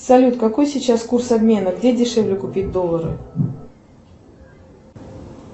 салют какой сейчас курс обмена где дешевле купить доллары